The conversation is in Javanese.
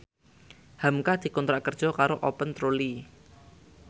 hamka dikontrak kerja karo Open Trolley